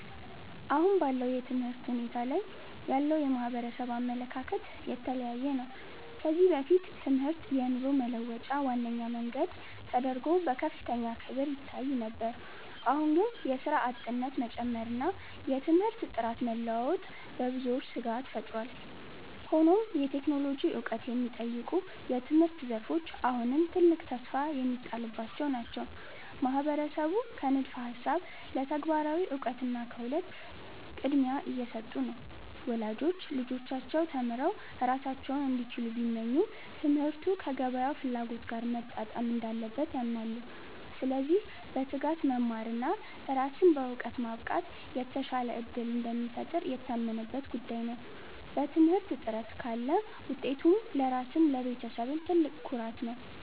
አሁን ባለው የትምህርት ሁኔታ ላይ ያለው የማህበረሰብ አመለካከት የተለያየ ነው። ከዚህ በፊት ትምህርት የኑሮ መለወጫ ዋነኛ መንገድ ተደርጎ በከፍተኛ ክብር ይታይ ነበር። አሁን ግን የሥራ አጥነት መጨመርና የትምህርት ጥራት መለዋወጥ በብዙዎች ስጋት ፈጥሯል። ሆኖም የቴክኖሎጂ ዕውቀት የሚጠይቁ የትምህርት ዘርፎች አሁንም ትልቅ ተስፋ የሚጣልባቸው ናቸው። ማህበረሰቡ ከንድፈ ሃሳብ ለተግባራዊ እውቀትና ክህሎት ቅድሚያ እየሰጡ ነው። ወላጆች ልጆቻቸው ተምረው ራሳቸውን እንዲችሉ ቢመኙም፣ ትምህርቱ ከገበያው ፍላጎት ጋር መጣጣም እንዳለበት ያምናሉ። ስለዚህ በትጋት መማርና ራስን በዕውቀት ማብቃት የተሻለ ዕድል እንደሚፈጥር የታመነበት ጉዳይ ነው። በትምህርት ጥረት ካለ ውጤቱ ለራስም ለቤተሰብም ትልቅ ኩራት ነው።